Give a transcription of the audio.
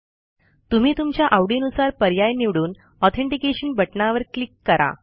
तुम्ही तुमच्या आवडीनुसार पर्याय निवडून ऑथेंटिकेशन बटणावर क्लिक करा